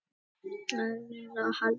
Fulla af bókhaldi.